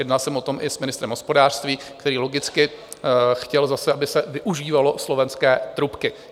Jednal jsem o tom i s ministrem hospodářství, který logicky chtěl zase, aby se využívaly slovenské trubky.